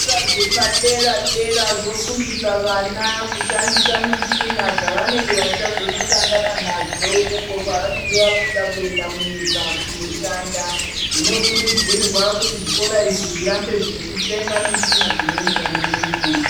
Zvikora zvepadera dera zvofundisa vana kushandisa mushina dzavanenge vachazosangana nadzo uko kwavanenge vabuda kuenda munyika kunoshanda zvinokurudzirwa kuti zvikora izvi zvirambe zveitenga mushina dzinoenderana nenguwa.